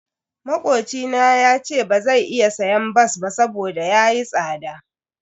Makocina yace bazai iya siyan bas ba saboda yayi tsada.